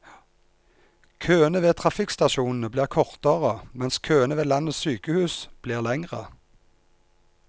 Køene ved trafikkstasjonene blir kortere, mens køene ved landets sykehus blir lengre.